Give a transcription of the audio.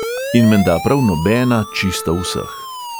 In menda prav nobena čisto vseh.